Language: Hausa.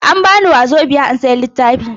An bani Wazobiya in sayi littafi.